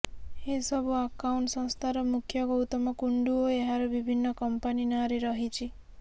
ଏ ସବୁ ଆକାଉଣ୍ଟ ସଂସ୍ଥାର ମୁଖ୍ୟ ଗୌତମ କୁଣ୍ଡୁ ଓ ଏହାର ବିଭିନ୍ନ କମ୍ପାନୀ ନାଁରେ ରହିଛି